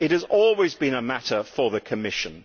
It has always been a matter for the Commission.